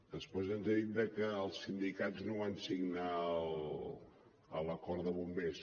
després ens ha dit que els sindicats no van signar l’acord de bombers